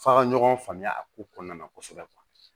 F'a ka ɲɔgɔn faamuya a ko kɔnɔna na kosɛbɛ